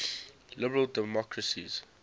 liberal democracies